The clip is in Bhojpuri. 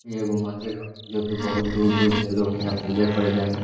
इ एगो मंदिर ह जोकि बहतु दूर-दूर से लोग इहां पूजा करे जाला।